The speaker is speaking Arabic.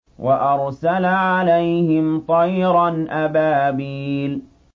وَأَرْسَلَ عَلَيْهِمْ طَيْرًا أَبَابِيلَ